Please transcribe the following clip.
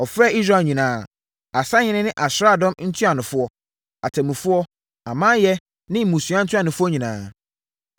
Ɔfrɛɛ Israel nyinaa, asahene ne asraadɔm ntuanofoɔ, atemmufoɔ, amanyɛ ne mmusua ntuanofoɔ nyinaa.